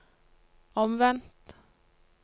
omvendt